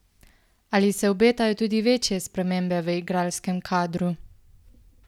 Ali se obetajo tudi večje spremembe v igralskem kadru?